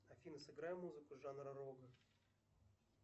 афина сыграй музыку жанра рок